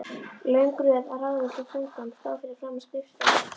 Löng röð af ráðvilltum föngum stóð fyrir framan skrifstofu hans.